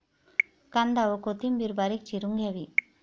कांदा व कोथिंबिर बारीक चिरून घ्यावी.